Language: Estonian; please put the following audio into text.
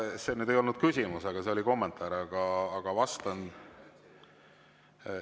See ei olnud küsimus, see oli kommentaar, aga ma vastan.